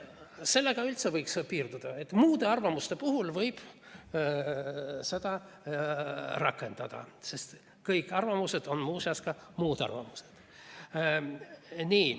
Sellega võikski piirduda, et muude arvamuste puhul võib seda rakendada, sest kõik arvamused on ühtaegu ka muud arvamused.